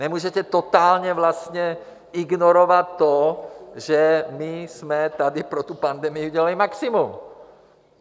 Nemůžete totálně vlastně ignorovat to, že my jsme tady pro tu pandemii udělali maximum.